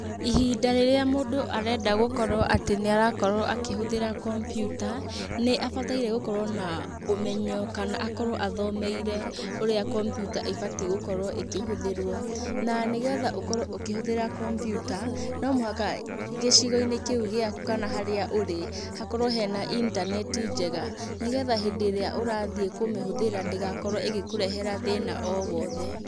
Ihinda rĩrĩa mũndũ arenda gũkorwo atĩ nĩarakorwo akĩhũthĩra kompiuta, nĩabataire gũkorwo na, ũmenyo kana akorwo athomeire, ũrĩa kompiuta ĩbatiĩ gũkorwo ĩkĩhũthĩrwo, na nĩgetha ũkorwo ũkĩhũthĩra kompiuta, no mũhaka gĩcigo-inĩ kĩu gĩaku kana harĩa ũrĩ, hakorwo harĩ na intaneti njega, nĩgetha hĩndĩ ĩrĩa ũrathiĩ kũmĩhũthĩra ndĩgakorwo ĩgĩkũrehera thĩna o wothe.